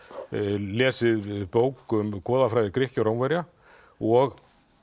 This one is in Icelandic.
lesið bók um goðafræði Grikkja og Rómverja og